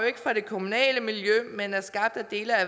ikke fra det kommunale miljø men er skabt af dele af